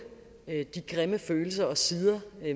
de grimme følelser og sider